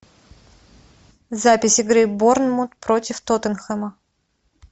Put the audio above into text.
запись игры борнмут против тоттенхэма